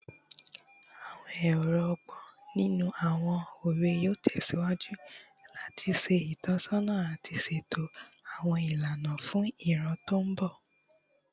Awọn ọrọ ọgbọn ninu awọn owe yoo tẹsiwaju lati ṣe itọsọna ati ṣeto awọn ilana fun iran ti mbọ